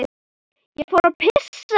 Ég fór að pissa.